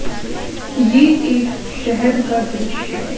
ये एक शहर का दृश्य है।